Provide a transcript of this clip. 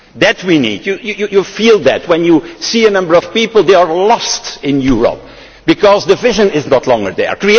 That we need. You feel that when you see a number of people, they are lost in Europe, because the vision is no longer there.